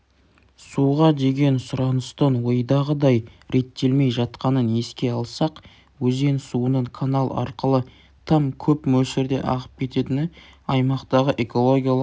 суға деген сұраныстың ойдағыдай реттелмей жатқанын еске алсақ өзен суының канал арқылы тым көп мөлшерде ағып кететіні аймақтағы экологиялық